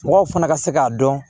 Mɔgɔw fana ka se k'a dɔn